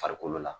Farikolo la